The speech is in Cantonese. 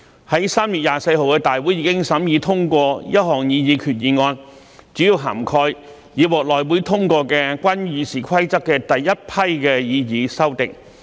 在3月24日的大會已審議通過一項擬議決議案，主要涵蓋已獲內會通過的關於《議事規則》的第一批擬議修訂。